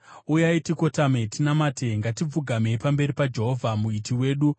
Uyai tikotame, tinamate, ngatipfugamei pamberi paJehovha Muiti wedu;